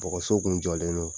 Bɔgɔso tun jɔlen don